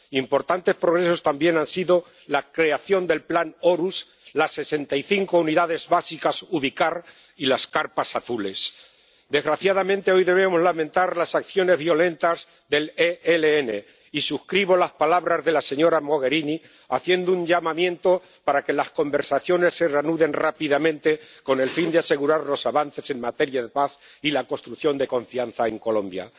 Importantes progresos también han sido la creación del plan Horus, las 65 unidades básicas Ubicar y las carpas azules. Desgraciadamente hoy debemos lamentar las acciones violentas del ELN y suscribo las palabras de la señora Mogherini haciendo un llamamiento para que las conversaciones se reanuden rápidamente, con el fin de asegurar los avances en materia de paz y la construcción de confianza en Colombia.